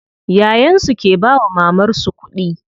Yayan su ke bawa mamar su kuɗi.